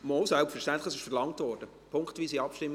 Doch, selbstverständlich, dies wurde verlangt.